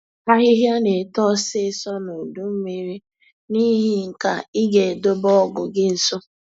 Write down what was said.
Ahịhịa na-eto ọsịịsọ na udu mmiri, n'ihi nke a ị ga-edobe ọgụ gị nso